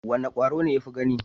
Wane kwaro ne ya fi gani?